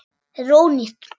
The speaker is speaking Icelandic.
Þetta er ónýtt.